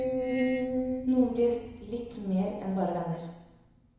Noen blir litt mer enn bare venner.